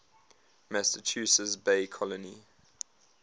massachusetts bay colony